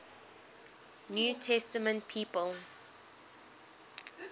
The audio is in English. new testament people